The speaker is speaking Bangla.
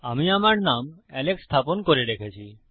আমি আমার নাম এলেক্স স্থাপন করে রেখেছি